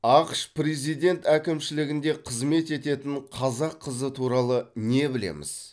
ақш президент әкімшілігінде қызмет ететін қазақ қызы туралы не білеміз